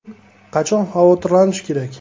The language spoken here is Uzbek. Qachon xavotirlanish kerak?